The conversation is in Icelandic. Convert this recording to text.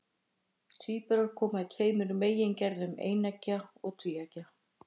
Tvíburar koma í tveimur megingerðum, eineggja og tvíeggja.